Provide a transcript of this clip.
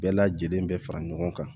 Bɛɛ lajɛlen bɛ fara ɲɔgɔn kan